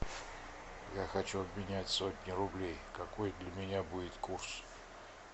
я хочу обменять сотню рублей какой для меня будет курс